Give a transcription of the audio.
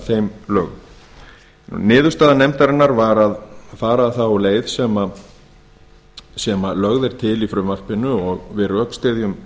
þeim lögum niðurstaða nefndarinnar var að fara þá leið sem lögð er til í frumvarpinu og við rökstyðjum